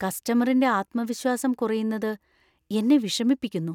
കസ്റ്റമറിന്‍റെ ആത്മവിശ്വാസം കുറയുന്നത് എന്നെ വിഷമിപ്പിക്കുന്നു.